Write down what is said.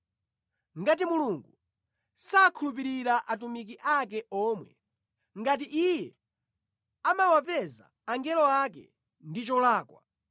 Ngati Mulungu sakhulupirira atumiki ake omwe, ngati Iye amawapeza angelo ake ndi cholakwa,